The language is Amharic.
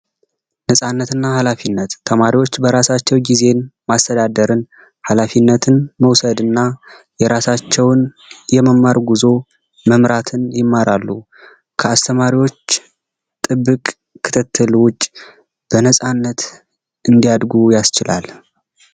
ነፃነትና ኃላፊነት ተማሪዎች በራሳቸው ጊዜ ራስን ማስተዳደር፣ ኃላፊነት መወሰድና የራሳቸውን የመማር ጉዞ መምራትን ይማራሉ። ከአስተማሪዎች ጥብቅ ክትትል ውጭ በነጻነት እንዲያድጉ ያስችላል።